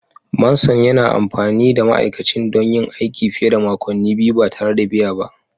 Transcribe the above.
Manson yana amfani da ma'aikacin don yin aiki fiye da makonni biyu ba tare da biya ba